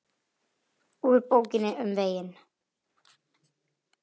Úr Bókinni um veginn